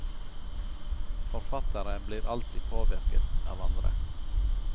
Forfattere blir alltid påvirket av andre.